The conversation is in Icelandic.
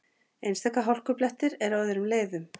Einstaka hálkublettir eru á öðrum leiðum